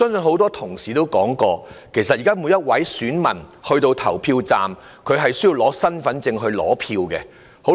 很多同事也提到，現在每名選民到達投票站後，都需要出示身份證來取選票。